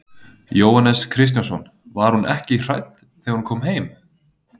Jóhannes Kristjánsson: Var hún ekki hrædd þegar hún kom heim?